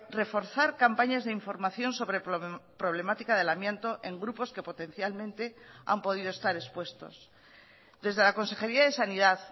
reforzar campañas de información sobre problemática del amianto en grupos que potencialmente han podido estar expuestos desde la consejería de sanidad